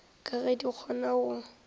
ka ge di kgona go